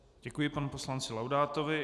Děkuji panu poslanci Laudátovi.